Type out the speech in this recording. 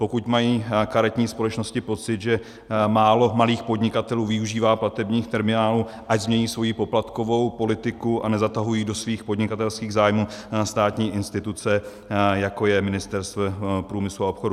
Pokud mají karetní společnosti pocit, že málo malých podnikatelů využívá platebních terminálů, ať změní svoji poplatkovou politiku a nezatahují do svých podnikatelských zájmů státní instituce, jako je Ministerstvo průmyslu a obchodu.